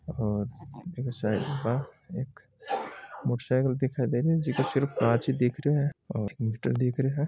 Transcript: और साईड में एक मोटर साइकिल दिखाय दे रही हैं जिको सिर्फ काच ही दिख रहा हैं और मीटर दिख रहा हैं।